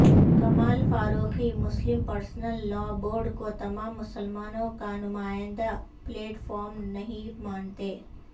کمال Faruqui Muslim personal law board کو تمام مسلمانوں کا نمائندہ پلیٹ فارم نہیں مانتے